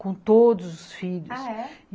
com todos os filhos, ah, é?